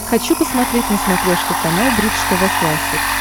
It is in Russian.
хочу посмотреть на смотрешке канал бридж тв классик